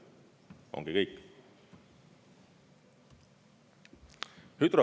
Ongi kõik!